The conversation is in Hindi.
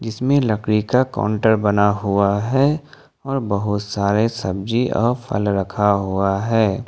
इसमें लकड़ी का काउंटर बना हुआ है और बहुत सारे सब्जी और फल रखा हुआ है।